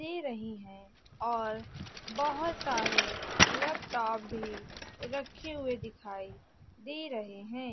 दे रही है और बहोत सारे लैपटॉप भी रखे हुए दिखाई दे रहे हैं।